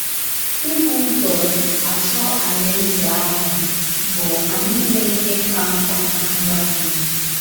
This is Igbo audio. Ibu ụzọ achọ Alaeze ahụ bụ anyị ịme ihe ka mkpa ná ndụ anyị.